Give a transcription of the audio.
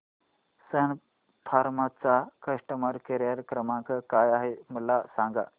सन फार्मा चा customer care क्रमांक काय आहे मला सांगा